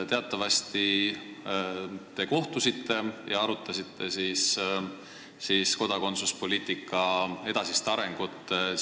Teatavasti te kohtusite siin Riigikogus ja arutasite kodakondsuspoliitika edasist arengut.